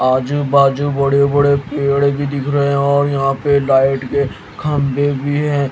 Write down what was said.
आजू बाजू बड़े-बड़े पेड़ भी दिख रहे हैं और यहां पे लाइट के खंबे भी हैं।